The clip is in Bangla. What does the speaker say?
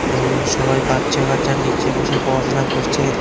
এবং সবাই বাচ্চাকাচ্চা নীচে বসে পয়াশোনা করচে।